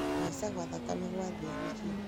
kũhaica thakame gwa thĩ nĩ kĩĩ?